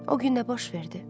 O gün də baş verdi?